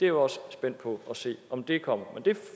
er også spændt på at se om det kommer men det